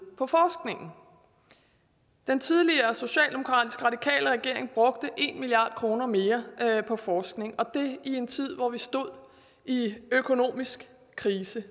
på forskningen den tidligere socialdemokratisk radikale regering brugte en milliard kroner mere på forskning og det i en tid hvor vi stod i økonomisk krise